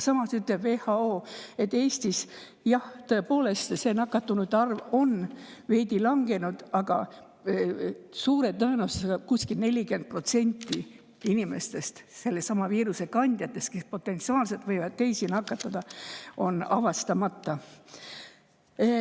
WHO ütleb, et Eestis, jah, on nakatunute arv tõepoolest veidi langenud, aga suure tõenäosusega kuskil 40% sellesama viiruse kandjatest, kes potentsiaalselt võivad teisi nakatada, on avastamata.